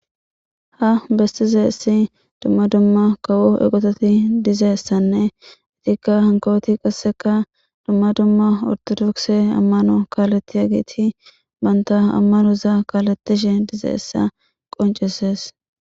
Ha bestizeessi dumma dumma kawo eqototi dizeessanne itikka hankaweti qasseka dumma dumma ortodokse ammano kaaletiya giiti banta ammanoza kaaletishe dizeessa qoncises